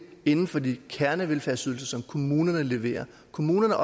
inden for de kernevelfærdsydelser som kommunerne leverer kommunerne